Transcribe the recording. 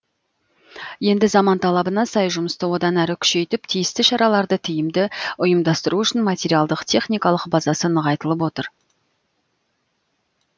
енді заман талабына сай жұмысты одан әрі күшейтіп тиісті шараларды тиімді ұйымдастыру үшін материалдық техникалық базасы нығайтылып отыр